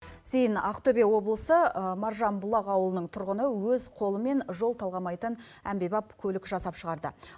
зейін ақтөбе облысы маржанбұлақ ауылының тұрғыны өз қолымен жол талғамайтын әмбебап көлік жасап шығарды